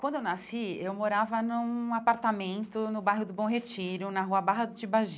Quando eu nasci, eu morava num apartamento no bairro do Bom Retiro, na rua Barra de Baggi.